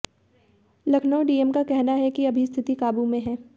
Lucknow DM का कहना है कि अभी स्थिति काबू में है